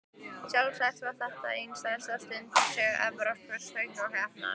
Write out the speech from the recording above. Sjálfsagt var þetta ein stærsta stundin í sögu Evrópsku söngvakeppninnar.